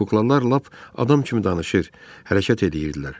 Kuklalar lap adam kimi danışır, hərəkət eləyirdilər.